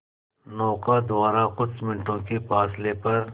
नौका द्वारा कुछ मिनटों के फासले पर